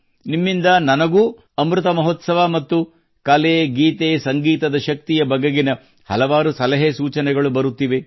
ನಿಮ್ಮಿಂದ ನನಗೂ ಅಮೃತ ಮಹೋತ್ಸವ ಮತ್ತು ಕಲೆ ಗೀತೆ ಸಂಗೀತದ ಶಕ್ತಿಯ ಬಗೆಗಿನ ಹಲವಾರು ಸಲಹೆ ಸೂಚನೆಗಳು ಬರುತ್ತಿವೆ